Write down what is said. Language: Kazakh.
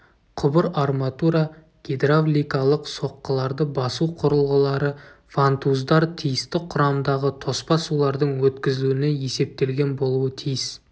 құбыр арматура гидравликалық соққыларды басу құрылғылары вантуздар тиісті құрамдағы тоспа сулардың өткізілуіне есептелген болуы тиіс